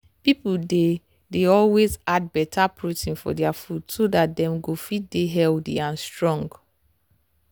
people dey dey always add better protein for their food so dat dem go fit dey healthy and strong.